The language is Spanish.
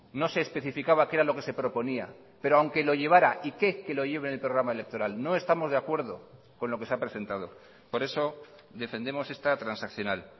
no se especificaba qué era lo que se proponía pero aunque lo llevara y qué que lo lleve en el programa electoral no estamos de acuerdo con lo que se ha presentado por eso defendemos esta transaccional